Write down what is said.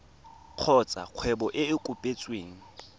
kgotsa kgwebo e e kopetsweng